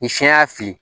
Ni siɲɛ y'a fili